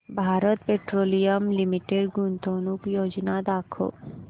Bharat Petroleum Limited गुंतवणूक योजना दाखव